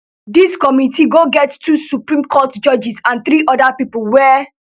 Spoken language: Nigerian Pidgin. dis committee go get two supreme court judges and three oda pipo wey